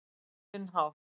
Á sinn hátt.